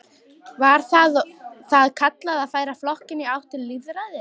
Var það kallað að færa flokkinn í átt til lýðræðis.